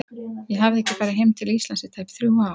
Ég hafði ekki farið heim til Íslands í tæp þrjú ár.